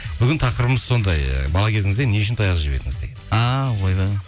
бүгін тақырыбымыз сондай ы бала кезіңізде не үшін таяқ жеп едіңіз деген а ойбай